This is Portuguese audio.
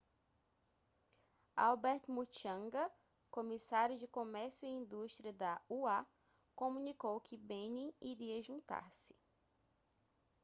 albert muchanga comissário de comércio e indústria da ua comunicou que benin iria juntar-se